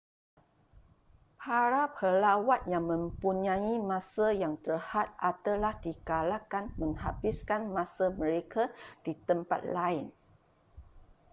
para pelawat yang mempunyai masa yang terhad adalah digalakkan menghabiskan masa mereka di tempat lain